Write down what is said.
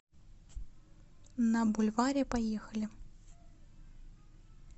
на бульваре поехали